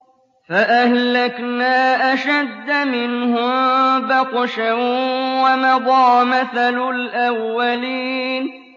فَأَهْلَكْنَا أَشَدَّ مِنْهُم بَطْشًا وَمَضَىٰ مَثَلُ الْأَوَّلِينَ